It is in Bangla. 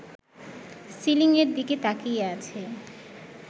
সিলিং-এর দিকে তাকিয়ে আছে